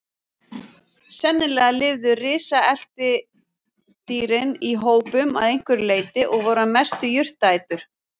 Sennilega lifðu risaletidýrin í hópum að einhverju leyti og voru að mestu jurtaætur.